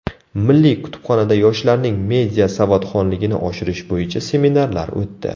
Milliy kutubxonada yoshlarning media savodxonligini oshirish bo‘yicha seminarlar o‘tdi.